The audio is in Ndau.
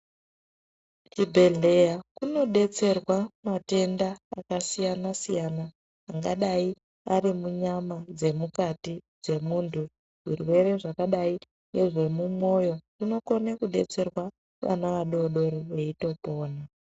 Kuchibhedhleya kunobetserwa matenda akasiyana siyana. Angadayi arimunyama dzemukati dzemuntu. Zvirwere zvakadayi nezvemumoyo zvinokone kubetserwa vana vadodori veyitopona.